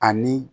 Ani